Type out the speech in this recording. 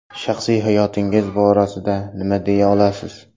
Shaxsiy hayotingiz borasida nima deya olasiz?